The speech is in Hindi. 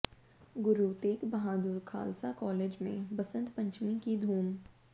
गुरु तेग बहादुर खालसा कॉलेज में बसंत पंचमी की धूम